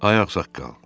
Ay ağsaqqal.